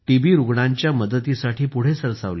रुग्णांच्या मदतीसाठी पुढे सरसावले